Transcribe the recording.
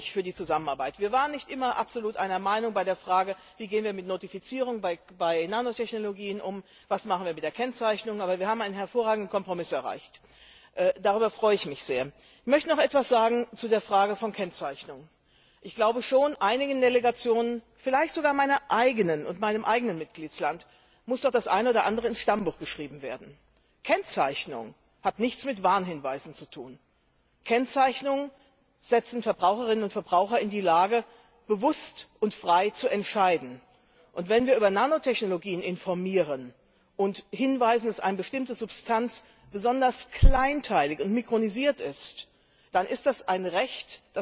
nicht da sein kann, für die Zusammenarbeit. Wir waren nicht immer absolut einer Meinung bei den Fragen, wie gehen wir mit Notifizierung bei Nanotechnologien um, was machen wir mit der Kennzeichnung, aber wir haben einen hervorragenden Kompromiss erreicht. Darüber freue ich mich sehr! Ich möchte noch etwas zu der Frage von Kennzeichnung sagen. Ich glaube schon, dass einigen Delegationen, vielleicht sogar meiner eigenen und meinem eigenen Mitgliedstaat, noch das eine oder andere ins Stammbuch geschrieben werden muss. Kennzeichnung hat nichts mit Warnhinweisen zu tun. Kennzeichnungen versetzen Verbraucherinnen und Verbraucher in die Lage, bewusst und frei zu entscheiden. Denn die Verbraucher haben ein Recht darauf, dass wir sie über Nanotechnologien informieren und darauf hinweisen, dass eine bestimmte Substanz besonders kleinteilig und mikronisiert